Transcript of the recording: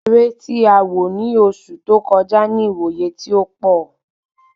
Eré tí a wò ni oṣù tó kọjá ni iwoye ti ó pọ